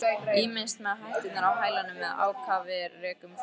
Ýmist með hætturnar á hælunum eða ákafir rekum flóttann.